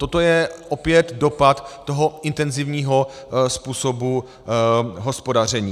Toto je opět dopad toho intenzivního způsobu hospodaření.